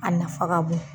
A nafa ka bon